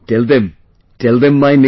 Tell them...tell them my name